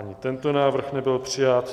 Ani tento návrh nebyl přijat.